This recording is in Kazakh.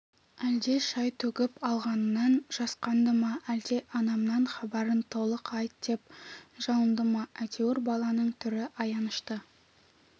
әлде шай төгіп алғанынан жасқанды ма әлде анамның хабарын толық айт деп жалынды ма әйтеуір баланың түрі аянышты